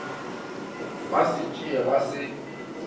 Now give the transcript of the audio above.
ba se tsee ba se